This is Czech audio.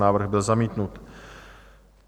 Návrh byl zamítnut.